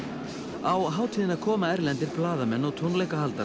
á hátíðina koma erlendir blaðamenn og tónleikahaldarar